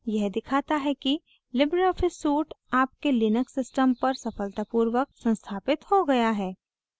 यह दिखाता है कि libreoffice suite आपके linux system पर सफलतापूर्वक संस्थापित हो गया है